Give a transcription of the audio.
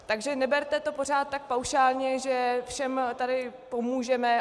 Takže neberte to pořád tak paušálně, že všem tady pomůžeme.